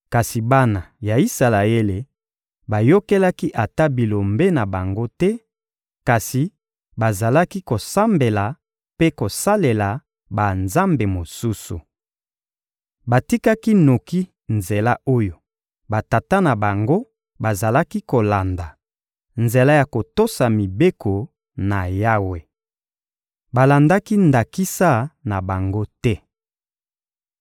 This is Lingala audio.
Kasi bana ya Isalaele bayokelaki ata Bilombe na bango te, kasi bazalaki kosambela mpe kosalela banzambe mosusu. Batikaki noki nzela oyo batata na bango bazalaki kolanda: nzela ya kotosa mibeko na Yawe. Balandaki ndakisa na bango te.